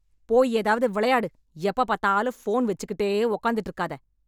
போய் ஏதாவது வெளையாடு எப்ப பாத்தாலும் ஃபோன் வச்சுக்கிட்டே உக்காந்துட்டு இருக்காத.